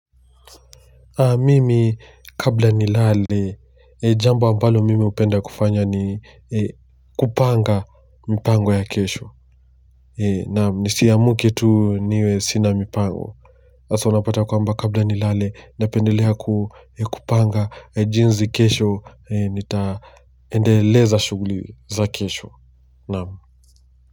Mimi kabla nilale, jambo ambalo mimi hupenda kufanya ni kupanga mipango ya kesho. Nisiamke tu niwe sina mipango. Hasa unapata kwamba kabla nilale, napendelea kupanga jinsi kesho, nitaendeleza shughuli za kesho.